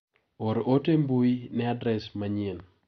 Or ote mbui ne adres manyien.